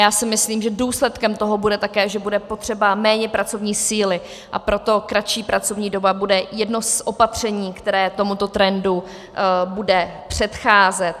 Já si myslím, že důsledkem toho bude také, že bude potřeba méně pracovní síly, a proto kratší pracovní doba bude jedno z opatření, které tomuto trendu bude předcházet.